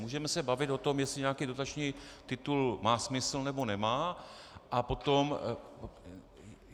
Můžeme se bavit o tom, jestli nějaký dotační titul má smysl, nebo nemá, a potom...